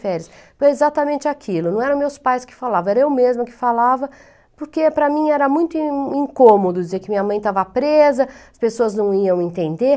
férias. Foi exatamente aquilo, não eram meus pais que falavam, era eu mesma que falava, porque para mim era muito in incômodo dizer que minha mãe estava presa, as pessoas não iam entender.